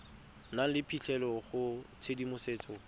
nang le phitlhelelo go tshedimosetso